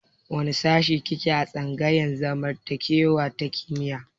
Wane shashi ki ke a tsangayar zamantakewa ta kimiyya?